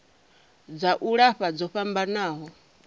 dza u lafha dzo fhambanaho